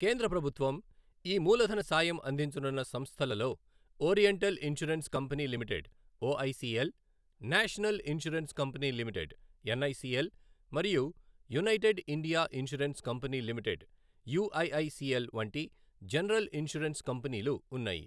కేంద్ర ప్రభుత్వం ఈ మూలధన సాయం అందించనున్న సంస్థలలో oriental insurance company limited OICL, national insurance company limited NICL మరియు United India insurance company limited UIICL వంటి జనరల్ ఇన్సూరెన్స్ కంపెనీలు ఉన్నాయి.